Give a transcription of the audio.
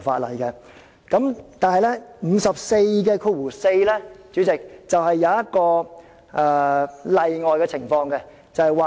不過，主席，第544條則訂明一種例外情況。